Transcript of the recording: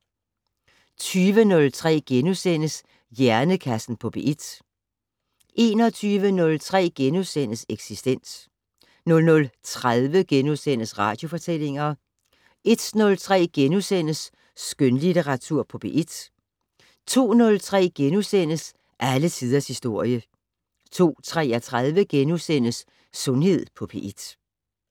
20:03: Hjernekassen på P1 * 21:03: Eksistens * 00:30: Radiofortællinger * 01:03: Skønlitteratur på P1 * 02:03: Alle tiders historie * 02:33: Sundhed på P1 *